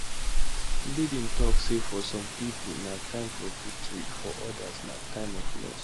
biden tok say for some pipo na time for victory for odas na time of loss